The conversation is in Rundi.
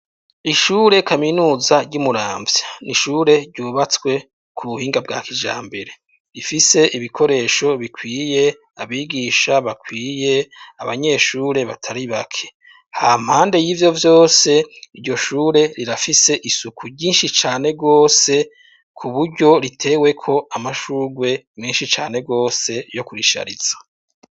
Ishure kaminuza ry'i Muramvya ni ishure ryubatswe ku buhinga bwa kijambere rifise ibikoresho bikwiye, abigisha bakwiye, abanyeshure batari bake. Hampande y'ivyo vyose iryo shure rirafise isuku ryinshi cane rwose ku buryo riteweko amashurwe menshi cane rwose yo kurishariza.